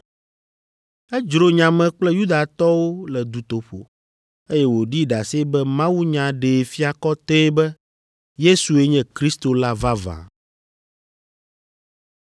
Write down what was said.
Edzro nya me kple Yudatɔwo le dutoƒo, eye wòɖi ɖase be mawunya ɖee fia kɔtɛe be Yesue nye Kristo la vavã.